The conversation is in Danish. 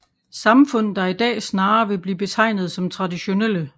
Samfund der i dag snarere vil blive betegnet som traditionelle